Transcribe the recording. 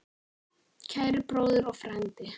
Kæri bróðir og frændi.